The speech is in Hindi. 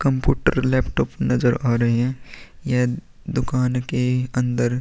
कंप्यूटर लैपटॉप नजर आ रही है ये दुकान की अंदर --